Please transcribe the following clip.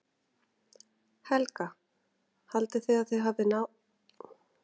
Helga: Haldið þið að þið náið að slökkva eldinn?